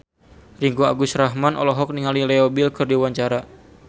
Ringgo Agus Rahman olohok ningali Leo Bill keur diwawancara